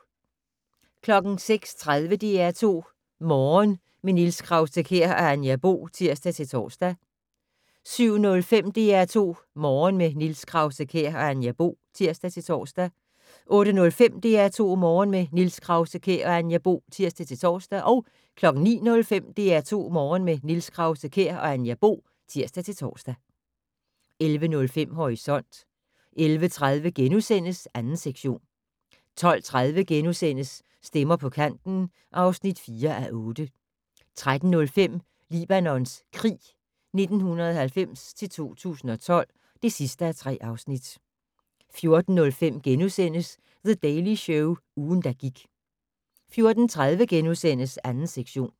06:30: DR2 Morgen - med Niels Krause-Kjær og Anja Bo (tir-tor) 07:05: DR2 Morgen - med Niels Krause-Kjær og Anja Bo (tir-tor) 08:05: DR2 Morgen - med Niels Krause-Kjær og Anja Bo (tir-tor) 09:05: DR2 Morgen - med Niels Krause-Kjær og Anja Bo (tir-tor) 11:05: Horisont 11:30: 2. sektion * 12:30: Stemmer på kanten (4:8)* 13:05: Libanons krig 1990-2012 (3:3) 14:05: The Daily Show - ugen, der gik * 14:30: 2. sektion *